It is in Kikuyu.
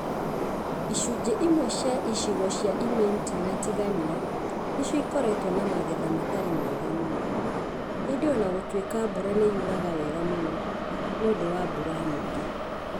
Icunjĩ imwe cia icigo cia Imenti na Tigania nĩcio ikoretwo na magetha matarĩ mega mũno. Ĩndĩ o na gũtuĩka mbura nĩ yuraga wega mũno, nĩ ũndũ wa mbura nyingĩ.